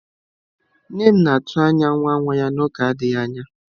Nne m na-atụ anya nwa nwa ya n'oge adịghị anya.